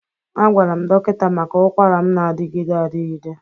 Agwara m dọkịta maka ụkwara m na-adịgide adịgide.